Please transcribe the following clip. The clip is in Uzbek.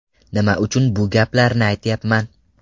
Nima uchun bu gaplarni aytyapman.